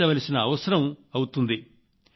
18 లక్షల పని దినాలంటే అదే పెద్ద ముందడుగు అవుతుంది